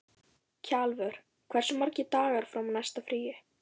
Kjalvör, hversu margir dagar fram að næsta fríi?